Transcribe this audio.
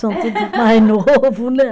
São tudo mais novo, né?